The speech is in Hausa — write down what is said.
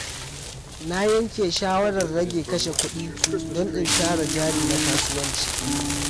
Na yanke shawarar rage kashe kudi don in tara jari na kasuwanci.